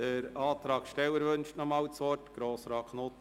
Der Antragsteller wünscht nochmals das Wort.